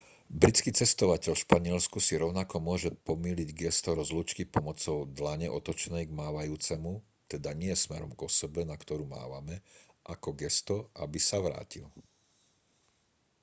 britský cestovateľ v španielsku si rovnako môže pomýliť gesto rozlúčky pomocou dlane otočenej k mávajúcemu teda nie smerom k osobe na ktorú mávame ako gesto aby sa vrátil